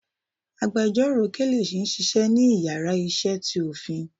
àgbẹjọró Kelechi n Ṣiṣẹ ni ìyára iṣẹ tí Ofin.